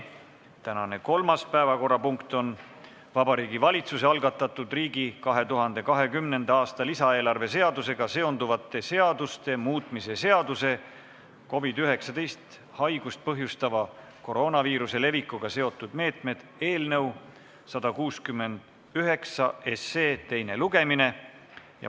Tänane kolmas päevakorrapunkt on Vabariigi Valitsuse algatatud riigi 2020. aasta lisaeelarve seadusega seonduvate seaduste muutmise seaduse eelnõu 169 teine lugemine.